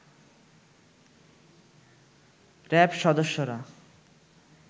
RAB সদস্যরা